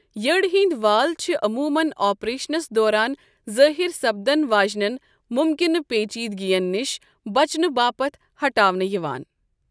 یٕڈ ہٕنٛدۍ وال چھِ عموٗمن آپریشنس دوران ظٲہِرسپدن واجِنین مُمكنہٕ پیچیدگین نِش بچنہٕ باپتھ ہٹاونہٕ یِوان ۔